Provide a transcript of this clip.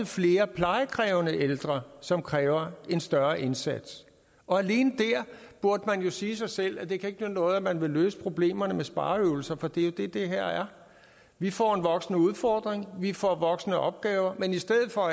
flere plejekrævende ældre som kræver en større indsats og alene der burde man jo sige sig selv at det ikke kan nytte noget at man vil løse problemerne med spareøvelser for det er jo det det her er vi får en voksende udfordring vi får voksende opgaver men i stedet for at